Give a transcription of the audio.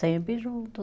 Sempre junto.